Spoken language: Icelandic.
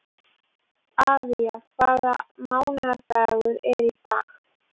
Avía, hvaða mánaðardagur er í dag?